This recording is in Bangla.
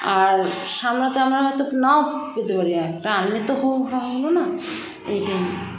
আর সামলাতে টামলাতে তো নাও পেতেপারি একটা আনলেতো হাতে হাহো হলোনা এইটাই